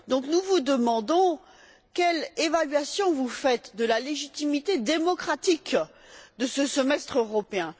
Nous vous demandons quelle évaluation vous faites de la légitimité démocratique de ce semestre européen?